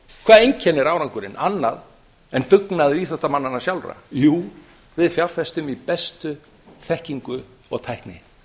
hvað einkennir árangurinn annað en dugnaður íþróttamannanna sjálfra jú við fjárfestum í bestu þekkingu og tækni